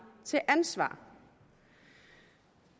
til ansvar